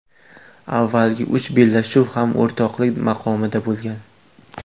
Avvalgi uch bellashuv ham o‘rtoqlik maqomida bo‘lgan.